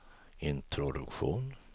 introduktion